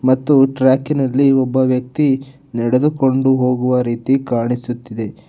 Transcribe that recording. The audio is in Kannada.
ಮತ್ತು ಟ್ರ್ಯಾಕಿನಲ್ಲಿ ಒಬ್ಬ ವ್ಯಕ್ತಿ ನಡೆದುಕೊಂಡು ಹೋಗುವ ರೀತಿ ಕಾಣಿಸುತ್ತಿದೆ.